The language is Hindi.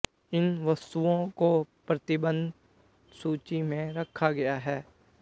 इन वस्तुओं को प्रतिबंधित सूची में रखा गया है